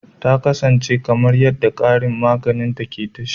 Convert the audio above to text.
Ta kasance kamar yadda karin magana ke tashi